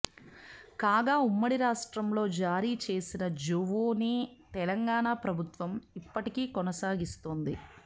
కాగా ఉమ్మడి రాష్ట్రం లో జారీ చేసిన జోవోనే తెలంగాణ ప్రభుత్వం ఇప్పటికి కొనసాగిస్తోంది